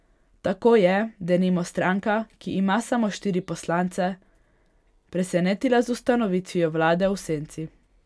Tako je, denimo, stranka, ki ima samo štiri poslance, presenetila z ustanovitvijo vlade v senci.